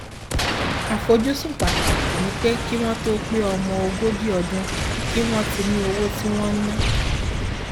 àfojúsùn pàtàkì ni pé kí wọn tó pe ọmọ ogójì ọdún kí wọn ti ní owó tí wọn ń ná